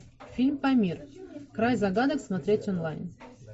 фильм памир край загадок смотреть онлайн